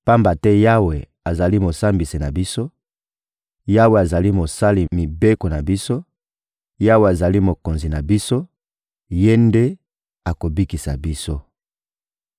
Pamba te Yawe azali Mosambisi na biso, Yawe azali Mosali mibeko na biso, Yawe azali Mokonzi na biso; Ye nde akobikisa biso.